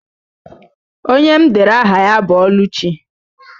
Onye m dere aha ya bụ Ọlụchi.